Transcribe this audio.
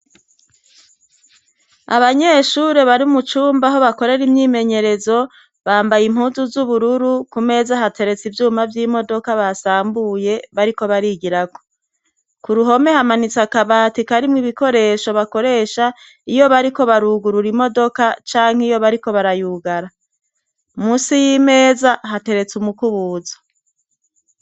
Abanyeshure bari mu cumba aho bakorera imyimenyerezo bambaye impuzu z'ubururu ku meza hateretsa ivyuma vy'imodoka basambuye bariko barigirako ku ruhome hamanitse akabati kaarimwo ibikoresho bakoresha iyo bariko barugurura imodoka canke iyo bariko barayugara musi y'imeza hateretse umukubuzo.